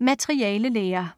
Materialelære